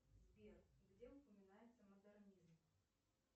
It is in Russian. сбер где упоминается модернизм